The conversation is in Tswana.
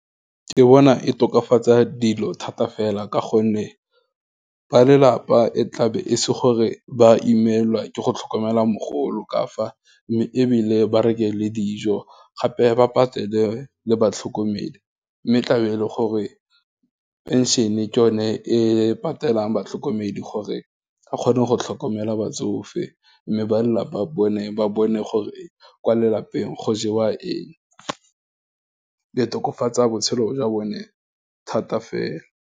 Ke bona e tokafatsa dilo thata fela, ka gonne ba lelapa e tlabe e se gore ba imelwa ke go tlhokomela mogolo ka fa, mme ebile ba reke le dijo, gape ba patele le batlhokomedi, mme tlabe e le gore pension-e ke yone e patelang batlhokomedi gore a kgone go tlhokomela batsofe, mme ba lelapa bone, ba bone gore e kwa lelapeng go jewa eng, e tokafatsa botshelo jwa bone thata fela.